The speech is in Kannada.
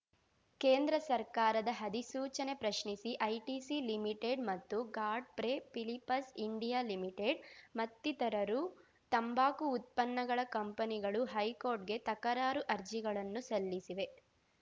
ಕೇಂದ್ರ ಸರ್ಕಾರದ ಅಧಿಸೂಚನೆ ಪ್ರಶ್ನಿಸಿ ಐಟಿಸಿ ಲಿಮಿಟೆಡ್‌ ಮತ್ತು ಗಾಡ್‌ಫ್ರೇ ಫಿಲಿಪಸ್ ಇಂಡಿಯಾ ಲಿಮಿಟೆಡ್‌ ಮತ್ತಿತರರು ತಂಬಾಕು ಉತ್ಪನ್ನಗಳ ಕಂಪನಿಗಳು ಹೈಕೋರ್ಟ್‌ಗೆ ತಕರಾರು ಅರ್ಜಿಗಳನ್ನು ಸಲ್ಲಿಸಿವೆ